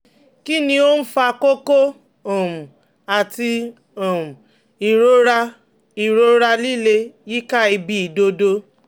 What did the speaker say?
Kí ni ó ń fa kókó um àti um ìrora ìrora líle yíká ibi ìdodo?